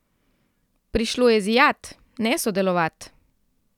Prišlo je zijat, ne sodelovat.